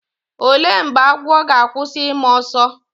olee mgbe agwọ ga-akwụsị ịma ọsọ?